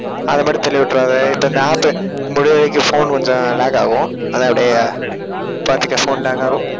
அதை மட்டும் தள்ளி விட்டுறாத. இப்ப இந்த app முடியற வரைக்கும் phone கொஞ்சம் lag ஆகும். அதை அப்படியே பாத்துக்க phone lag ஆகும்